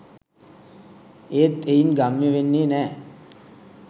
එත් එයින් ගම්‍ය වෙන්නේ නෑ